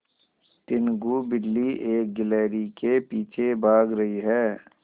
टीनगु बिल्ली एक गिल्हरि के पीछे भाग रही है